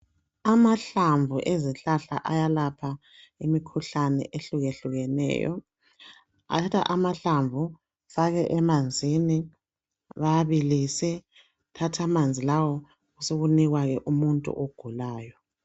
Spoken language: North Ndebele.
Amahlamvu ezihlahla ayalapha imikhuhlane ehlukehlukeneyo .Bathatha amahlamvu bafake emanzini ,bawabilise .Sebethatha amanzi lawo sokunikwa ke umuntu ogulayo.